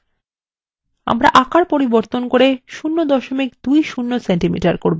আমরা আকার পরিবর্তন করব 020 cm করব